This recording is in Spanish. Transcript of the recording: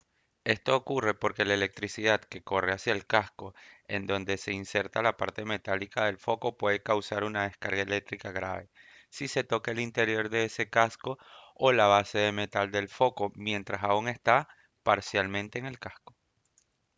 esto ocurre porque la electricidad que corre hacia el casco en donde se inserta la parte metálica del foco puede causar una descarga eléctrica grave si se toca el interior de ese casco o la base de metal del foco mientras aún está parcialmente en el casco